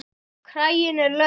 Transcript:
Kraginn er laus.